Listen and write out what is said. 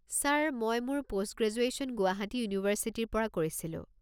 Sir মই মোৰ post graduation Guwahati ইউনিভাৰ্চিটিৰ পৰা কৰিছিলো।